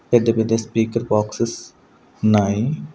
పెద్ద పెద్ద speaker boxes ఉన్నాయి.